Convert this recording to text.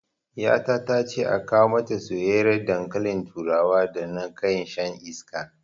Ƴata tace a kawo mata soyyiyar dankalin turawa da na kai shan iska